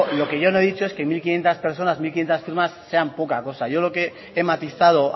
lo que yo no he dicho es que mil quinientos personas mil quinientos firmas sean poca cosa yo lo que matizado